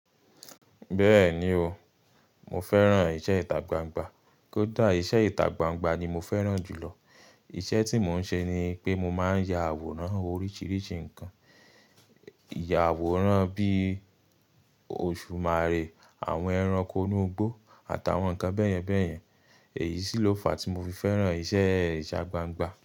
Bẹ́ẹ̀ni o, mo fẹ́ràn iṣẹ́ ìta gbangba. Kódà iṣẹ́ ìtagbangba ni mo fẹ́ràn jùlọ. Iṣẹ́ tí mo ń ṣe ni pé mo máa ń ya àwòrán oríṣiríṣi nǹkan. Ya àwòrán bí i Òṣùmàrè, àwọn ẹranko inú igbó àtàwọn nǹkan bẹ́ẹ̀yẹn bẹ́ẹ̀yẹn. Èyí sì ló fa tí mo fi fẹ́ràn iṣẹ́ ìṣàgbàngbà.